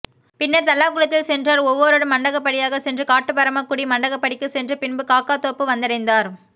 பின்னர் தல்லாகுளத்தில் சென்றார் ஒவ்வோரு மண்டகப்படியாக சென்று காட்டுபரமக்குடி மண்டகப்படிக்கு சென்று பின்பு காக்காதோப்பு வந்தடைந்தார்